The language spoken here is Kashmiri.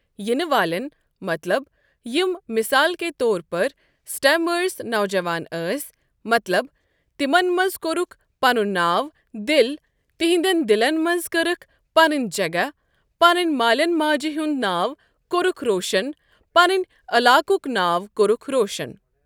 یِنہٕ والٮ۪ن مطلب یِم مِثال کے طور پَر سٹیمأرس نوجوان ٲسۍ مطلب تِمن منٛز کوٚرکھ پَنن ناو دِل تِہنٛدٮ۪ن دِلَن منٛز کٔرٕکھ پَنٕنۍ جگہ پنٛنٮ۪ن مالٮ۪ن ماجہِ ہُنٛد ناو کوٚرُکھ روشَن پَنٛنہ علاقک ناو کوٚرکھ روشن۔